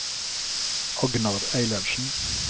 Agnar Eilertsen